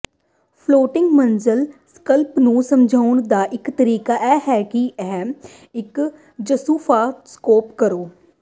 floating ਮੰਜ਼ਲ ਸੰਕਲਪ ਨੂੰ ਸਮਝਣ ਦਾ ਇੱਕ ਤਰੀਕਾ ਇਹ ਹੈ ਕਿ ਇੱਕ ਜੂਸਫਾਸਾ ਸਕੋਪ ਕਰੋ